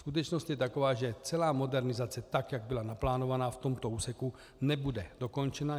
Skutečnost je taková, že celá modernizace, tak jak byla naplánována v tomto úseku, nebude dokončena.